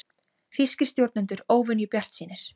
Þýskir stjórnendur óvenju bjartsýnir